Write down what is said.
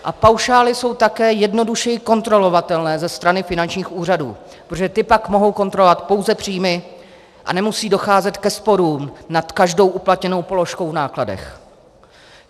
A paušály jsou také jednodušeji kontrolovatelné ze strany finančních úřadů, protože ty pak mohou kontrolovat pouze příjmy a nemusí docházet ke sporům nad každou uplatněnou položkou v nákladech.